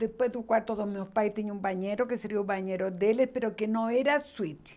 Depois do quarto dos meus pais tinha um banheiro, que seria o banheiro deles, mas que não era suíte.